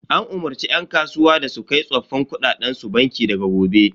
An umarce yan kasuwa da su kai tsoffin kuɗaɗen su banki daga gobe.